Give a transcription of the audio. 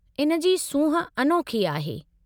इन जी सूंहुं अनोखी आहे।